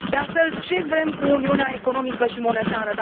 De altfel, ce vrem cu uniunea economică și monetară?